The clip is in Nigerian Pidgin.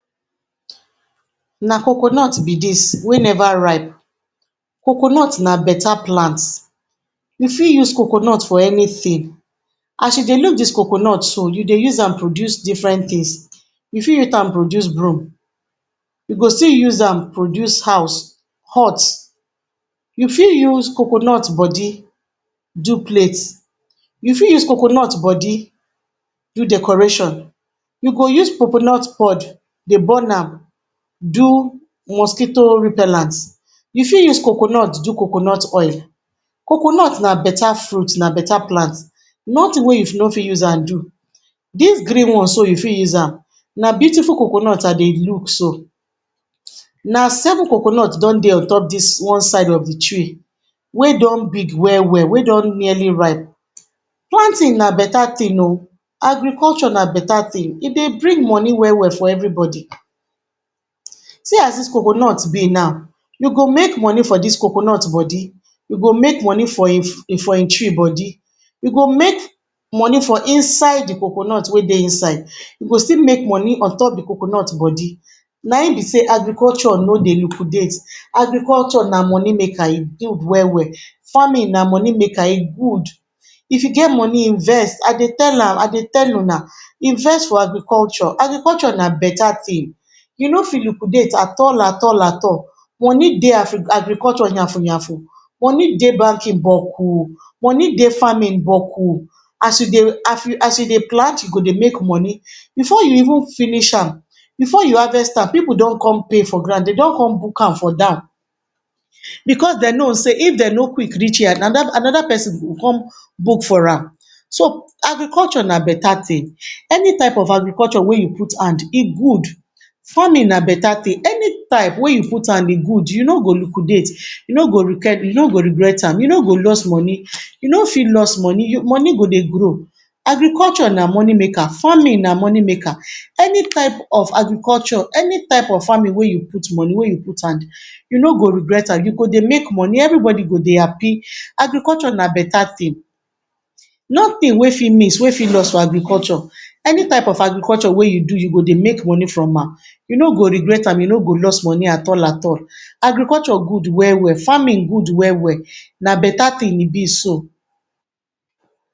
Na coconut be dis wey neva ripe, coconut na beta plant, you fit use coconut for anytin as you dey look dis coconut so you dey use am produce different tins You fit used am produce broom, you go still use am produce house, hut, you fit use coconut bodi do plate, you fit use coconut bodi do decoration You go use coconut pod dey burn am do mosquito repellent, you fit use coconut do coconut oil, coconut na beta fruit na beta plant, notin wey you no fit use am do Dis green one so you fit use am na beautiful coconut I dey look so, na seven coconut don dey on top dis one side of di tree wey don big well-well wey don nearly ripe Planting na beta thin oh, agriculture na beta thin e bring moni well-well for everybody, see as dis coconut be now we go make moni from dis coconut bodi, we go make moni for im for im tree bodi we go make moni for inside di coconut wey dey inside We go still make moni omtop dey coconut bodi, aim be sey agriculture no dey lukudate, agriculture na moni maker e good well-well farming na money maker e good If you get moni invest I dey tell her I dey tell una, invest for agriculture, agriculture na beta tin e no fit lukudaet at all at all at all, moni dey afri um agriculture yn fun yan fun Money dey banking bo ku, moni dey farming bo kuas you dey as you dey plant you dey make moni before you even finish am, before you harvest am pipu don com pay for ground dey don com book am for down, because dem no sey if dem no quick reach here na da[um] anoda persin go come book for am So, agriculture na better tin, any type of agriculture wey you put hand e good, farming na beta tin, any type wey you put hand e good you no go lukudate, you no go regret am, you no go loss moni you no fit loss moni, moni go dey grow Agriculture na moni maker, farming na moni maker, any type of agriculture any type farming we you put moni wey you put hand, you no go regret am, you go dey make moni every bodi go dey happy, agriculture na beta tin, nothing wey fit miss wey fit loss for agriculture Any type of agriculture wey you do you go dey make moni from am, you no go regret am you no go lost moni at all at all Agriculture good well-well, farming good well-well, na beta tin e be so